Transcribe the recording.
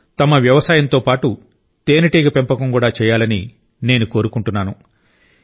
దేశంలోని ఎక్కువ మంది రైతులు తమ వ్యవసాయంతో పాటు తేనెటీగ పెంపకం కూడా చేయాలని నేను కోరుకుంటున్నాను